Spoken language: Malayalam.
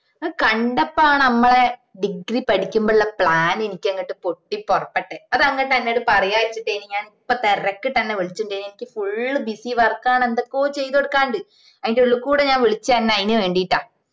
അത് കണ്ടപ്പോണ് മ്മളെ degree പഠിക്കുമ്പോ ഉള്ള plan എനിക്ക് അങ്ങട്ട് പൊട്ടി പുറപ്പെട്ടെ അത് അങ്ങ് തന്നോട് പറയാന്ന് വച്ചിട്ടാണ് ഞാ പ്പൊ തിരക്കിട്ട് അന്നെ വിളിച്ചിട്ട് അനക്ക് full busy work ആണ് എന്തൊക്കെയോ ചെയ്ത് കൊടുക്കാനിണ്ട് ആയിന്റ ഉള്ളു കൂടാ ഞാൻ വിളിച്ചേ അഞ അയിന് വേണ്ടീട്ടാ